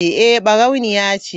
Eh barauniya ce.